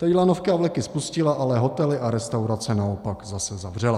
Teď lanovky a vleky spustila, ale hotely a restaurace naopak zase zavřela.